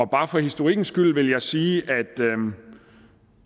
bare for historikkens skyld vil jeg sige at